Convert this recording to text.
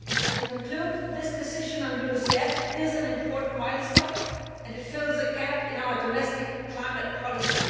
To conclude, this decision on LULUCF is an important milestone and fills a gap in our domestic climate policy.